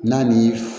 N'a ni